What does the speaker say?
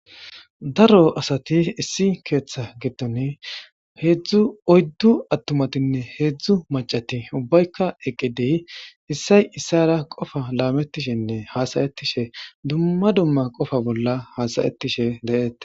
daro asati issi keeththa gitton heedzdzu oyddu attumatinne heedzdzu macati ubbaykka eqqidiy issay issara qofa laametishenne hasayetishe dumma dumma qofa bolla hasayettishe de7eete